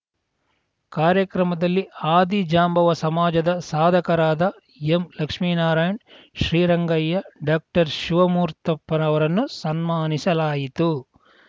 ಕಾರ್ಯಕ್ರಮದಲ್ಲಿ ಆದಿಜಾಂಬವ ಸಮಾಜದ ಸಾಧಕರಾದ ಎಂಲಕ್ಷ್ಮೀನಾರಾಯಣ್‌ ಶ್ರೀರಂಗಯ್ಯ ಡಾಕ್ಟರ್ ಶಿವಮೂರ್ತಪ್ಪ ರವರನ್ನು ಸನ್ಮಾನಿಸಲಾಯಿತು